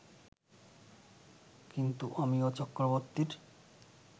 কিন্তু অমিয় চক্রবর্তীর